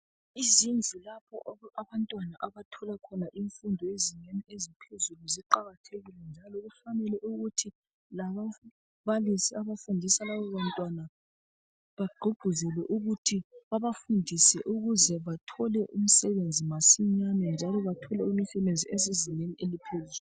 Izindlu lapho abantwana abathola khona imfundo yezingeni eziphezulu ziqakathekile njalo kufanele ukuthi lababalisi abafundisa laba bantwana bagqugquzelwe ukuthi babafundise ukuze bathole umsebenzi masinyane njalo bathole imisebenzi esezingeni eliphezulu.